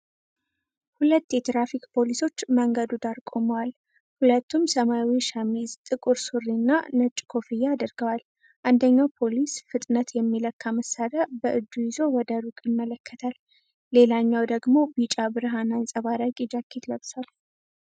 ሁለት የትራፊክ ፖሊሶች መንገዱ ዳር ቆመዋል። ሁለቱም ሰማያዊ ሸሚዝ፣ ጥቁር ሱሪ እና ነጭ ኮፍያ አድርገዋል። አንደኛው ፖሊስ ፍጥነት የሚለካ መሳሪያ በእጁ ይዞ ወደ ሩቅ ይመለከታል። ሌላኛው ደግሞ ቢጫ ብርሃን አንጸባራቂ ጃኬት ለብሷል።